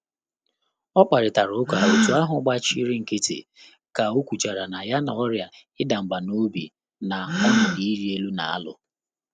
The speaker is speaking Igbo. Mkpàrị́tà ụ́ká òtù áhụ́ gbàchìrì nkị́tị́ kà ọ́ kwùchàrà nà yá nà ọ́rị́à ịda mbà n'obi na ọnọdụ ịrị elu nà-álụ́.